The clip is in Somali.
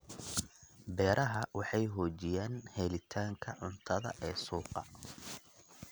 Beeraha Beeraha waxay xoojiyaan helitaanka cuntada ee suuqa.